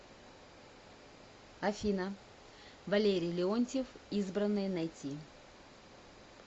афина валерий леонтьев избранные найти